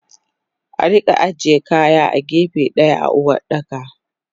Arika aje kaya a gefe daya a Uwardaka.